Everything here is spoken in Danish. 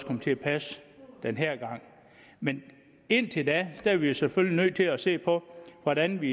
komme til at passe den her gang men indtil da er vi selvfølgelig nødt til at se på hvordan vi